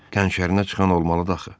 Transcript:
Qənşərinə çıxan olmalıdır axı.